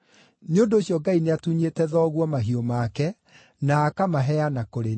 Nĩ ũndũ ũcio, Ngai nĩatunyĩte thoguo mahiũ make na akamaheana kũrĩ niĩ.